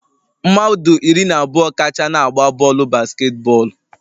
Mmadụ iri na abụọ kacha na-agba bọọlụ basketball